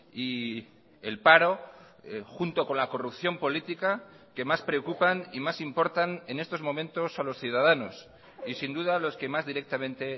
y el paro junto con la corrupción política que más preocupan y más importan en estos momentos a los ciudadanos y sin duda los que más directamente